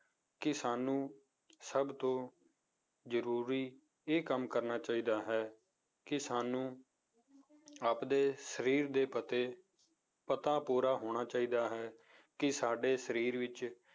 ਕਿ ਸਾਨੂੰ ਸਭ ਤੋਂ ਜ਼ਰੂਰੀ ਇਹ ਕੰਮ ਕਰਨਾ ਚਾਹੀਦਾ ਹੈ ਕਿ ਸਾਨੂੰ ਆਪਦੇ ਸਰੀਰ ਦੇ ਪਤੇ ਪਤਾ ਪੂਰਾ ਹੋਣਾ ਚਾਹੀਦਾ ਹੈ, ਕਿ ਸਾਡੇ ਸਰੀਰ ਵਿੱਚ